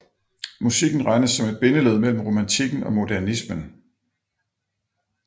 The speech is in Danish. Musikken regnes som et bindeled mellem romantikken og modernismen